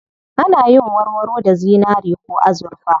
Ana yin warwaro da zinari ko azurfa.